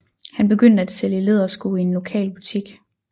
Han begyndte at sælge lædersko i en lokal butik